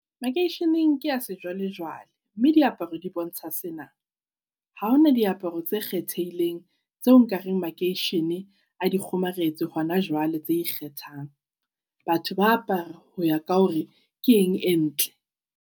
Makeisheneng ke a sejwalejwale, mme diaparo di bontsha sena. Ha hona diaparo tse kgethehileng tseo nka reng makeishene a di kgomaretse hona jwale tse ikgethang. Batho ba apara ho ya ka hore ke eng e ntle.